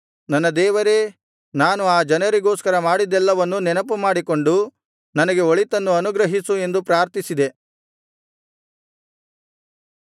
ನನ್ನ ದೇವರೇ ನಾನು ಆ ಜನರಿಗೋಸ್ಕರ ಮಾಡಿದ್ದೆಲ್ಲವನ್ನು ನೆನಪು ಮಾಡಿಕೊಂಡು ನನಗೆ ಒಳಿತನ್ನು ಅನುಗ್ರಹಿಸು ಎಂದು ಪ್ರಾರ್ಥಿಸಿದೆ